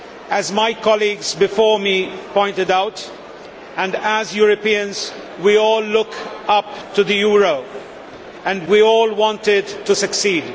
As my colleagues before me pointed out, and as Europeans, we all look up to the euro and we all want it to succeed.